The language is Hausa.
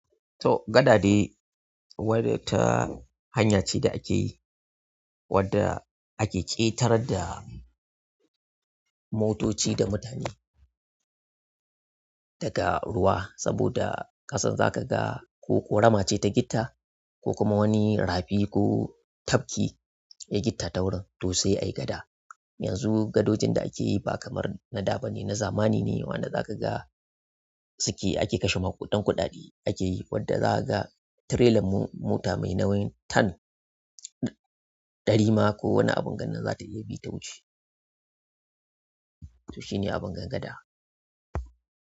To, gada de wata hanya ce da ake yi, wadda ake ƙetar da motoci da mutum daga ruwa. Saboda kasan zaka ga ko korama ce ta gitta ko kuma wani rafi ko tafki ya yi gitta ta wurin to sai ai gada. Yanzu gadojin da ake yi ba kamar na da ba ne, na zamani ne. Wanda zaka ga suke ake kashe ma kuɗan kuɗaɗe ake yi, wadda za ka ga tirelan mota mai nauyin ton ɗari ma ko wani abun gannan za ta iya bi ta wuce. To shi ne abin gan gada.